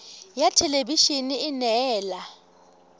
ya thelebi ene e neela